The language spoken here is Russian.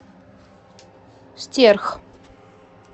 стерх